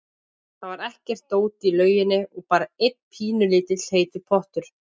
Það var ekkert dót í lauginni og bara einn pínulítill heitur pottur.